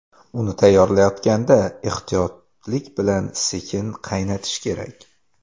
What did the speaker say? Uni tayyorlayotganda ehtiyotlik bilan sekin qaynatish kerak.